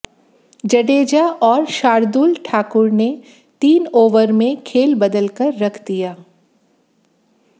जडेजा और शार्दुल ठाकुर ने तीन ओवर में खेल बदलकर रख दिया